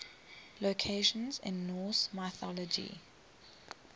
locations in norse mythology